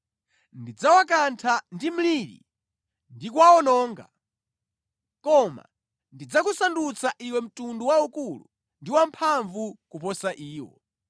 Ndidzawakantha ndi mliri ndi kuwawononga. Koma ndidzakusandutsa iwe mtundu waukulu ndi wamphamvu kuposa iwo.”